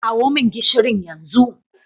Kawo min gishirin yanzu.